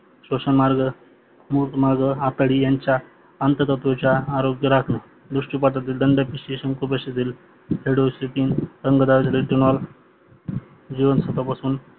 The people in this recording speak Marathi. श्वशण मुखमार्ग आतडी यांच्या अंततत्वाच्या आरोग्य राखण दुष्टिपाथक दंडविशलेस्वन कुपोक्षीतील हेडोक्षीतील अंगडादक इथेनोल जीवनसत्वापासून